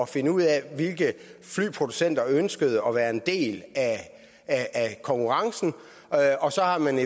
fandt ud af hvilke flyproducenter der ønskede at være en del af konkurrencen og så har man